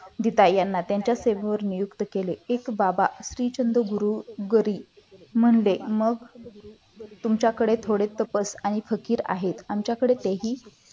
गीताई यांना त्यांच्या सेवेवर नियुक्त केले बाबा श्री चंद्र गुरु म्हणाले मग तुमच्याकडे थोडे तपास आणि फकीर आहेत आमच्याकडे तेही